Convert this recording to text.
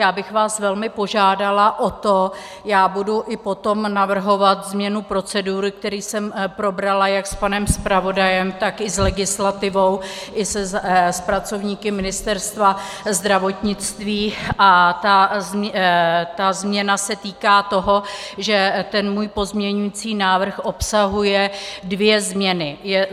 Já bych vás velmi požádala o to, já budu i potom navrhovat změnu procedury, kterou jsem probrala jak s panem zpravodajem, tak i s legislativou i s pracovníky Ministerstva zdravotnictví, a ta změna se týká toho, že ten můj pozměňující návrh obsahuje dvě změny.